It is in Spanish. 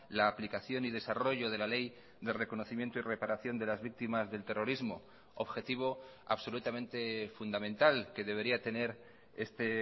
la aplicación y desarrollo de la ley de reconocimiento y reparación de las víctimas del terrorismo objetivo absolutamente fundamental que debería tener este